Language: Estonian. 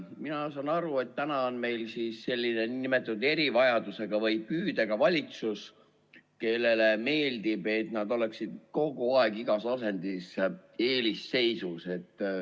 Mina saan aru, et praegu on meil selline nn erivajadusega või püüdega valitsus, kellele meeldib, kui nad oleksid kogu aeg igas asendis eelisseisus.